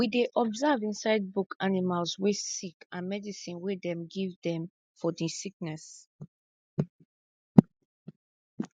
we dey observe inside book animals wey sick and medicine wey dem give dem for di sickness